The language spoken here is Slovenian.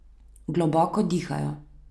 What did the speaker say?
Globoko dihajo.